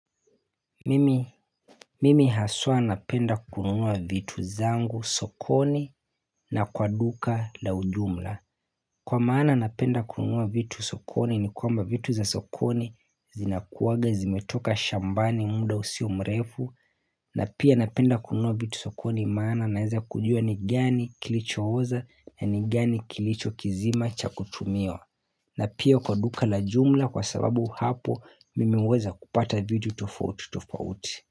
Mimi haswa napenda kununua vitu zangu sokoni na kwa duka la ujumla Kwa maana napenda kununua vitu sokoni ni kwamba vitu za sokoni zinakuwaga zimetoka shambani muda usio mrefu na pia napenda kununua vitu sokoni maana naeza kujua ni gani kilicho oza na ni gani kilicho kizima cha kutumiwa na pia kwa duka la jumla kwa sababu hapo mimi uweza kupata vitu tofauti tofauti.